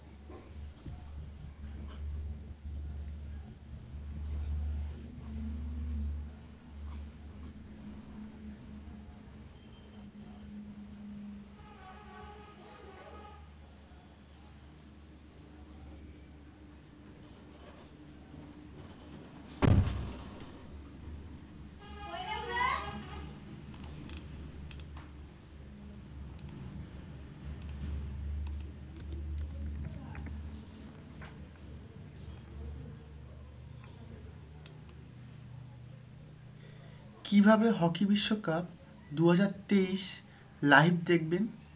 কিভাবে hockey বিশ্বকাপ দু হাজার তেইশ live দেখবেন?